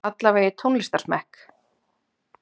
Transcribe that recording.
allavega í tónlistarsmekk.